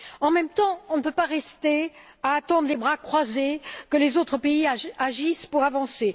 En même temps, on ne peut pas rester à attendre les bras croisés que les autres pays agissent pour avancer.